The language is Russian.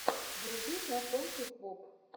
вруби знакомьтесь боб